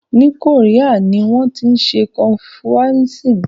Ní Korea ni wọ́n tí ń ṣe confuianism.